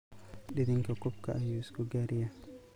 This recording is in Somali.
Didhinka kuubka ayu iskugariyax.